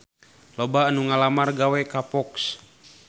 Loba anu ngalamar gawe ka Fox